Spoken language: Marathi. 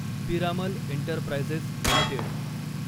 Piramal enterprises limited